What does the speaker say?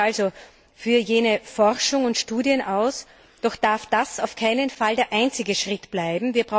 Ich spreche mich also für jene Forschung und Studien aus, doch darf das auf keinen Fall der einzige Schritt bleiben.